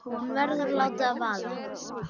Hún verður að láta það vaða.